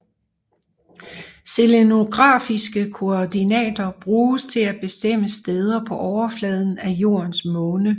Selenografiske koordinater bruges til at bestemme steder på overfladen af Jordens måne